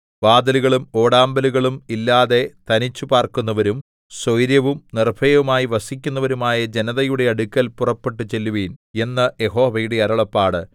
വാതിലുകളും ഓടാമ്പലുകളും ഇല്ലാതെ തനിച്ചു പാർക്കുന്നവരും സ്വൈരവും നിർഭയവുമായി വസിക്കുന്നവരുമായ ജനതയുടെ അടുക്കൽ പുറപ്പെട്ടുചെല്ലുവിൻ എന്ന് യഹോവയുടെ അരുളപ്പാട്